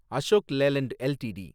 Ashok Leyland LTD